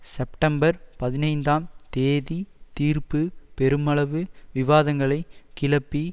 September பதினைந்தாம் தேதித் தீர்ப்பு பெருமளவு விவாதங்களைக் கிளப்பி